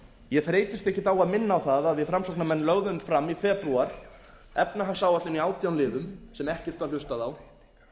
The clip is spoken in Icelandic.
ég þreytist ekkert á að minna á það að við framsóknarmenn lögðum fram í febrúar efnahagsáætlun í átján liðum sem ekkert var hlustað á